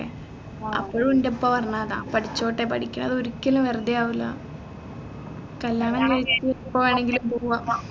അപ്പോഴും എൻെറ ഉപ്പ പറഞ്ഞതാ പേടിച്ചോട്ടെ പഠിക്കണത് ഒരിക്കലും വെറുതെ ആവില്ല കല്യാണം കഴിച്ച് എപ്പോ വേണെങ്കിലും പോവാം